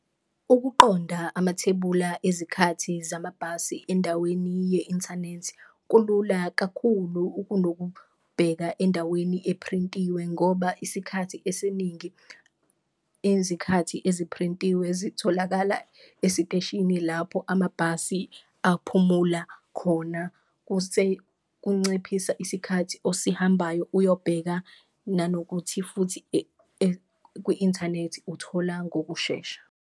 Ukuqonda amathebula ezikhathi zamabhasi endaweni ye-inthanethi kulula kakhulu ukunokubheka endaweni ephrintiwe ngoba isikhathi esiningi, ezikhathi eziphrintiwe zitholakala esiteshini lapho amabhasi aphumula khona. Kunciphisa isikhathi osihambayo uyobheka nanokuthi futhi kwi-inthanethi uthola ngokushesha.